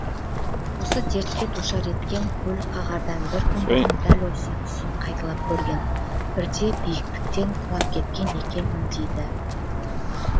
осы дертке душар еткен көлік қағардан бір күн бұрын дәл осы түсін қайталап көрген бірде биіктіктен құлап кеткен екенмін дейді